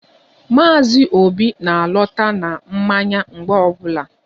Maazi obi na-alọta na mmanya mgbe ọbụla